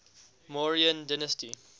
mauryan dynasty